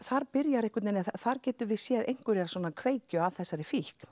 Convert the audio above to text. þar þar getum við séð einhverja kveikju að þessari fíkn